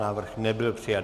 Návrh nebyl přijat.